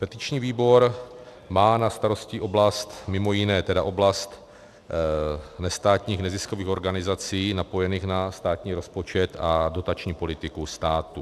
Petiční výbor má na starosti oblast, mimo jiné tedy, oblast nestátních neziskových organizací napojených na státní rozpočet a dotační politiku státu.